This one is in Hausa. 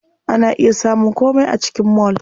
Ana iya samun komai a cikin mall.